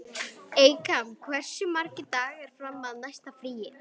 Eykam, hversu margir dagar fram að næsta fríi?